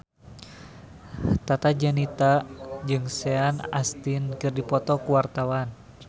Tata Janeta jeung Sean Astin keur dipoto ku wartawan